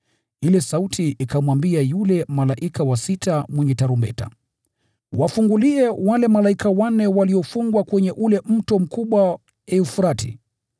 Ile sauti ikamwambia yule malaika wa sita mwenye tarumbeta, “Wafungulie wale malaika wanne waliofungwa kwenye ule mto mkubwa Frati.”